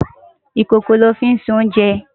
Ikókó lò fi nsé oùnjè